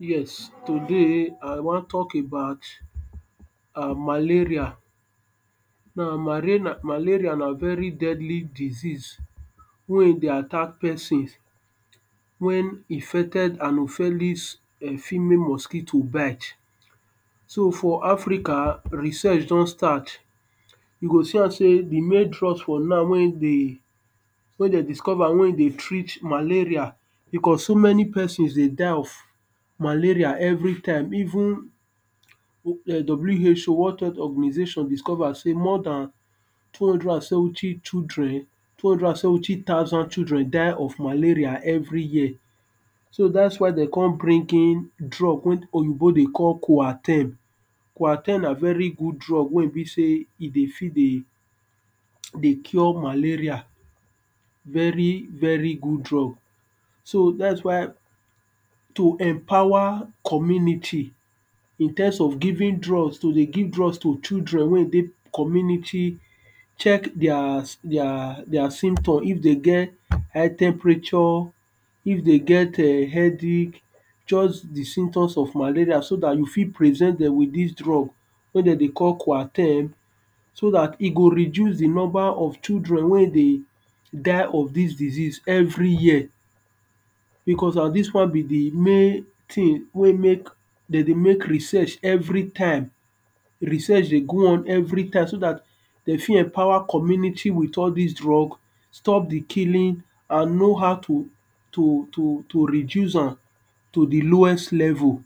Yes today I wan talk about um maleria. now, marena malaria na very deadly disease wen dey attack person, wen infected anopheles um female mosquito bite. so for Africa, research don starch you go see am sey di main drugs for now wey e de wen dem discover wey e dey treat malaria, because so many person dey die of malaria every time even W.H.O world health organisation discover sey more dan two hundred and seventy children two hundred and seventy thousand children dey die of malaria every year. so dats why dem come bring in drug wen oyibo dey call koaterm, koaterm na very good drug wey e be sey e dey fit dey dey cure malaria. very very good drug, so dats why to empower community in terms of giving drugs to dey give children wey e dey community, check theirs their their symptom if dey get high temperature, if dey get um head ache, just di symptoms of malaria so dat you fit prevent dem with dis drug wen dem dey call koaterm, so dat e go reduce di number of children wen dey die of dis disease every year. because na dis one bi di main thing wey e make dem dey make research every time, research dey go on every time so dat dem fit empower community with all dis drug stop di killing and know how to to to to reduce am to di lowest level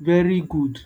very good.